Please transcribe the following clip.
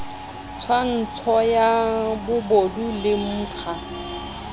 tswantsho ya bobodu le mkga